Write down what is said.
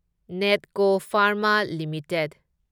Netco Pharma limited